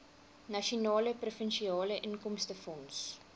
nasionale provinsiale inkomstefonds